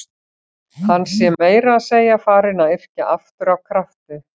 Hann sé meira að segja farinn að yrkja aftur af krafti.